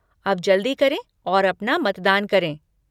अब जल्दी करें और अपना मतदान करें।